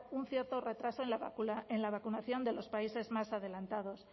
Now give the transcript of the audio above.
un cierto retraso en la vacunación de los países más adelantados